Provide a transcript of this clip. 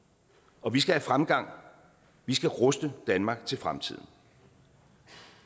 og vi skal have fremgang vi skal ruste danmark til fremtiden